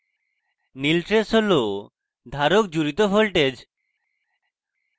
নীল trace হল ধারক জুড়িত voltage